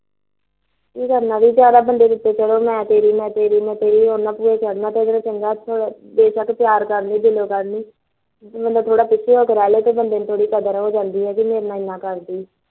ਕੀ ਕਰਨਾ ਮੈਂ ਤੇਰੀ ਮੈਂ ਤੇਰੀ ਮੈ ਤੇਰੀ ਇਹੇਦੇ ਨਾਲ ਚੰਗਾ ਬੇ ਸ਼ੱਕ ਪਿਆਰ ਕਰਦਾ ਦਿਲੋ ਕਰੋ ਜੇ ਬੰਦਾ ਪਿਛੇ ਹੋ ਜੇੋ ਬੰਦੇ ਨੂੰ ਥੋੜੀ ਜਿਹੀ ਕਦਰ ਹੋ ਜਾਂਦੀ ਕਿ ਮੇਰੇ ਨਾਲ ਇੰਨਾ ਕਰਦੀ ਐ